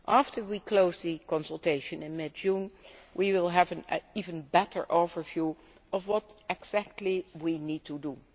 After we close the consultation in mid June we will have an even better overview of what exactly we need